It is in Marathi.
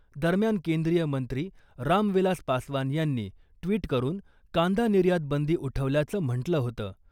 दरम्यान केंद्रीय मंत्री रामविलास पासवान यांनी ट्विट करून कांदा निर्यात बंदी उठवल्याचं म्हंटलं होतं .